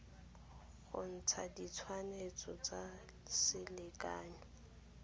go ntsha ditshwantsho tsa selekanyo